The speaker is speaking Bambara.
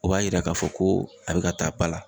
O b'a yira k'a fɔ ko a be ka taa ba la